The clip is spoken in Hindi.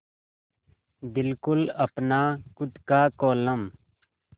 बिल्कुल अपना खु़द का कोलम